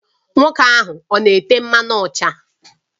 Nwoke ahụ ọ na-ete mmanụ ụcha?